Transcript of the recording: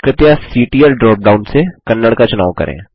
कृपया CTL dropdown से कन्नड़ का चुनाव करें